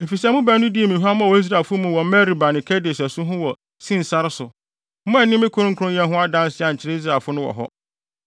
Efisɛ mo baanu dii me huammɔ wɔ Israelfo mu wɔ Meriba ne Kades asu ho wɔ Sin sare so. Moanni me kronkronyɛ ho adanse ankyerɛ Israelfo no wɔ hɔ.